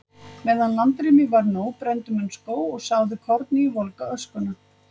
Meðan landrými var nóg brenndu menn skóg og sáðu korni í volga öskuna.